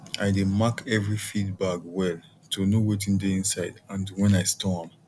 i dey mark every feed bag well to know wetin dey inside and when i store am